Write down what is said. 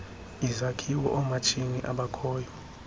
izakhiwo oomatshini abakhoyo